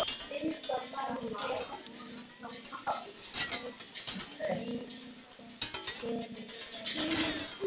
Honum þykir vatnið fallegt sagði ég.